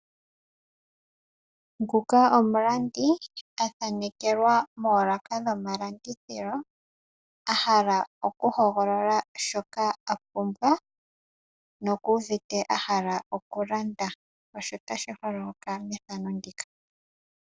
Nguka omulandi athanekelwa moolaka dhomalandithilo, ahala okuhogolola shoka apumbwa, nokuuvite ahala okulanda.